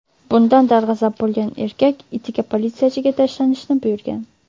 Bundan darg‘azab bo‘lgan erkak itiga politsiyachiga tashlanishni buyurgan.